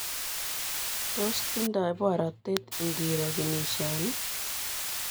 Tos tindai boratet ingoro kinishanii?